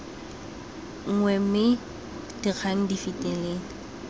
nngwe mme dikgang di fetele